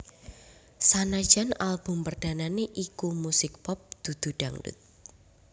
Sanajan album perdanane iku musik pop dudu dangdut